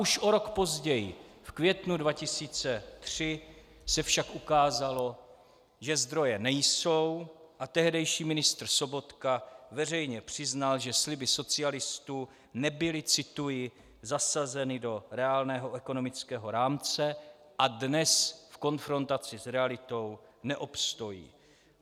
Už o rok později, v květnu 2003, se však ukázalo, že zdroje nejsou, a tehdejší ministr Sobotka veřejně přiznal, že sliby socialistů nebyly - cituji - "zasazeny do reálného ekonomického rámce a dnes v konfrontaci s realitou neobstojí".